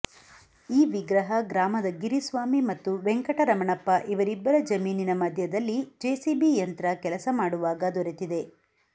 ಈ ವಿಗ್ರಹ ಗ್ರಾಮದ ಗಿರಿಸ್ವಾಮಿ ಮತ್ತು ವೆಂಕಟರಮಣಪ್ಪ ಇವರಿಬ್ಬರ ಜಮೀನಿನ ಮಧ್ಯದಲ್ಲಿ ಜೆಸಿಬಿ ಯಂತ್ರ ಕೆಲಸ ಮಾಡುವಾಗ ದೊರೆತಿದೆ